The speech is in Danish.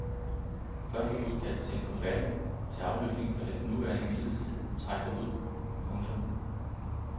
Første udkast til en forfatning til afløsning for den nuværende midlertidige trækker ud. punktum